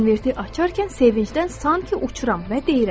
Konverti açarkən sevincdən sanki uçuram və deyirəm: